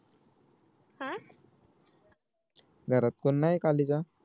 घरात कोण नाही खाली जा